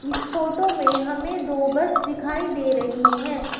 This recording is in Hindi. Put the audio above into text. इस फोटो में हमें दो बस दिखाई दे रही है।